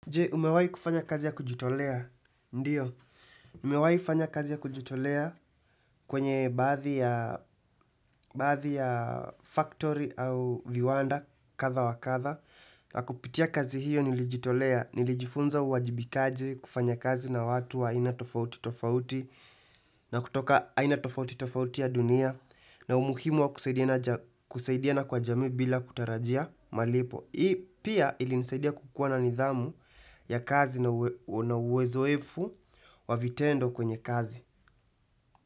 Je, umewai kufanya kazi ya kujitolea, ndiyo, nimewai fanya kazi ya kujitolea kwenye baadhi ya baadhi ya factory au viwanda kadha wa kadha na kupitia kazi hiyo nilijitolea, nilijifunza uwajibikaji kufanya kazi na watu wa aina tofauti tofauti na kutoka aina tofauti tofauti ya dunia na umuhimu wa kusaidiana kwa jamii bila kutarajia malipo Hii pia ilinisaidia kukuwa na nidhamu ya kazi na uwezoefu wa vitendo kwenye kazi.